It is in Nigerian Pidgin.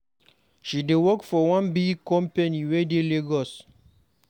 She dey work for one big company wey dey Lagos.